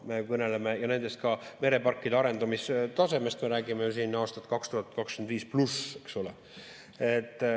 Mereparkide arendamise tasemest me räägime aastast 2025+.